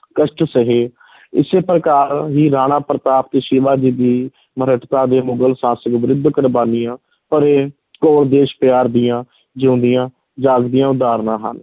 ਕਸ਼ਟ ਸਹੇ ਇਸੇ ਪ੍ਰਕਾਰ ਹੀ ਰਾਣਾ ਪ੍ਰਤਾਪ ਅਤੇ ਸ਼ਿਵਾਜੀ ਦੀ ਦੇ ਮੁਗਲ ਸ਼ਾਸਕ ਵਿਰੁੱਧ ਕੁਰਬਾਨੀਆਂ ਭਰੇ ਘੋਰ ਦੇਸ਼ ਪਿਆਰ ਦੀਆਂ ਜਿਉਂਦੀਆਂ ਜਾਗਦੀਆਂ ਉਦਾਹਰਨਾਂ ਹਨ।